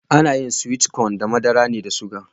Ana yin (sweet cone) da masara ne da suga.